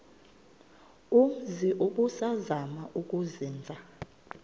umzi ubusazema ukuzinza